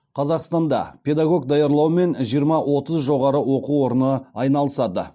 қазақстанда педагог даярлаумен жиырма отыз жоғары оқу орны айналысады